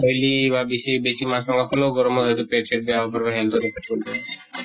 oily বা বেছি, বেছি মাছ মাংস খালেও গৰমত হয়্তো পেT চেট বেয়া হʼব হেন কৰি